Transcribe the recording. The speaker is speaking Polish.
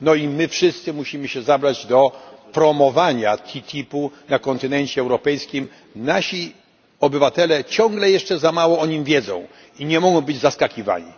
My wszyscy musimy się zabrać do promowania TTIP na kontynencie europejskim nasi obywatele ciągle jeszcze za mało o nim wiedzą i nie mogą być zaskakiwani.